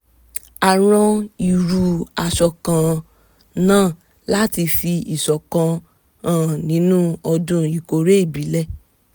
a rán irú aṣọ kan- náà láti fi ìṣọ̀kan hàn nínú ọdún ìkórè ìbílẹ̀